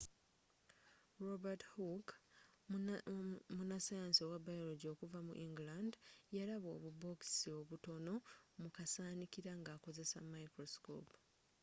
robert hooke munnasayansi owa biology okuva mu england yalaba obubookisi obutono mu kasaanikira nga akozesa microscope